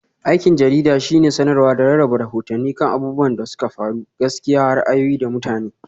Aikin jarida shine samarwa da rarraba rahotanni kan abubuwan da suka faru, gaskiya, ra'ayoyi, da mutane.